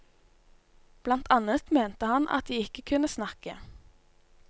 Blant annet mente man at de ikke kunne snakke.